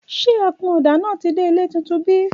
Ṣẹ àkúnòdá nà tí dẹ ìlẹ́ titún bí?